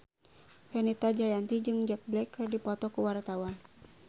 Fenita Jayanti jeung Jack Black keur dipoto ku wartawan